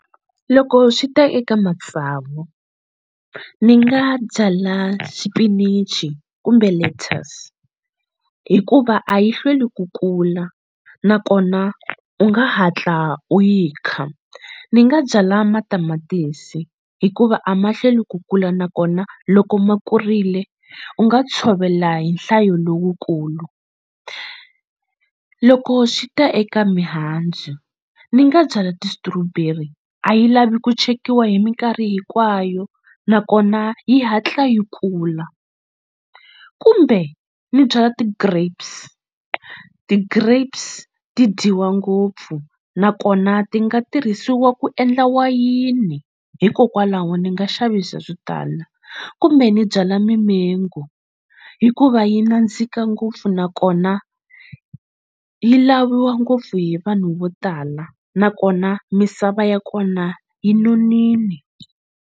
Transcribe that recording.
Loko swi ta eka matsavu ni nga byala xipinichi kumbe lettuce hikuva a yi hlweli ku kula nakona u nga hatla u yi kha ni nga byala matamatisi hikuva a ma hlweli ku kula nakona loko ma kurile u nga tshovela hi nhlayo lowukulu loko swi ta eka mihandzu ni nga byala ti-strawberry a yi lavi ku chekiwa hi minkarhi hinkwayo nakona yi hatla yi kula kumbe ni byala ti-grapes ti-grapes ti dyiwa ngopfu nakona ti nga tirhisiwa ku endla wayini hikokwalaho ni nga xavisa kumbe ni byala mimengo hikuva yi nandzika ngopfu nakona yi laviwa ngopfu hi vanhu vo tala nakona misava ya kona yi nonile.